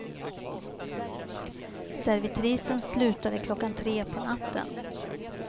Servitrisen slutade klockan tre på natten.